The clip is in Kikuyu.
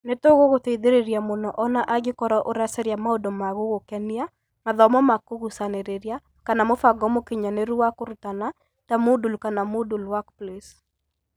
Nĩ tũgũgũteithĩrĩria mũno o na angĩkorũo ũracaria maũndũ ma gũgũkenia, mathomo ma kũgucanĩrĩria, kana mũbango mũkinyanĩru wa kũrutana ta Moodle kana Moodle Workplace.